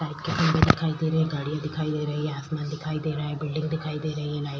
और खम्बे दिखाई दे रहे है गाड़ियाँ दिखाई दे रही है आसमान दिखाई दे रहा है बिल्डिंग दिखाई दे रही है।